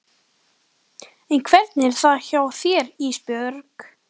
En hvernig er það hjá þér Ísbjörg?